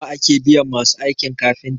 nawa ake biyan masu aikin kafinta?